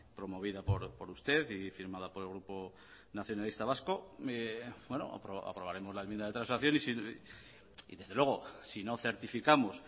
promovida por usted y firmada por el grupo nacionalista vasco bueno aprobaremos la enmienda de transacción y desde luego si no certificamos